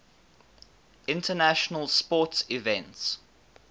international sports events